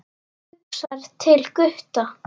Hugsar til Gutta.